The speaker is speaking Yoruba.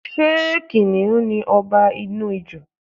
Ṣé kìnnìún ni ọba ní Ijù?